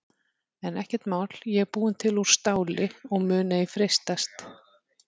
En ekkert mál ég er búin til úr STÁLI og mun ei freistast.